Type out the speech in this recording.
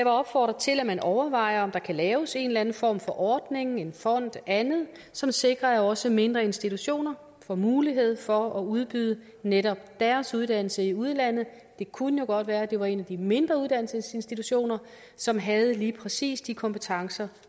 opfordre til at man overvejer om der kan laves en eller anden form for ordning en fond andet som sikrer at også mindre institutioner får mulighed for at udbyde netop deres uddannelse i udlandet det kunne jo godt være det var en af de mindre uddannelsesinstitutioner som havde lige præcis de kompetencer